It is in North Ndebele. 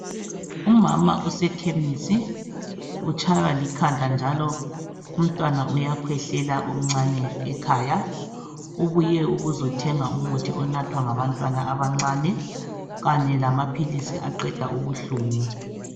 umama usekhemisi utshaywa likhanda njalo umntwana uyakhwehlela omncane ekhaya ubuye ukuzothenga umuthi onathwa ngabantwana abancane kanye lamaphilisi aqeda ubuhlungu